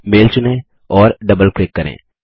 mail चुनें और double click करें